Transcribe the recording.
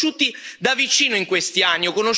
Li ho conosciuti da vicino, in questi anni.